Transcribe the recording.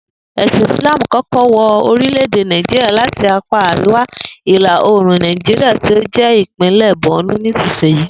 È̩sìn Ìsláàmù kó̩kó̩ wo̩ orílè̩-èdè Nàìjíríà láti apá àríwá ìlà oòrùn Nàìjíríà tí ó jé̩ ìpínlè̩ Bornu nísiyìí